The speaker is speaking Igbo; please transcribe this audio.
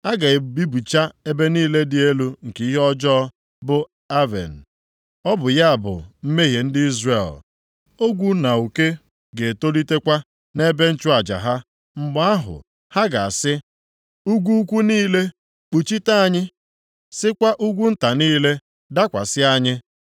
a ga-ebibicha ebe niile dị elu nke ihe ọjọọ, bụ Aven, + 10:8 Aven, na-ekwu banyere Bet-Aven aha ịkwa emo na-akpọ Betel ọ bụ ya bụ mmehie ndị Izrel, ogwu na uke ga-etolitekwa, nʼebe nchụaja ha. Mgbe ahụ ha ga-asị, ugwu ukwu niile, “Kpuchite anyị!” Sịkwa ugwu nta niile, “Dakwasị anyị!”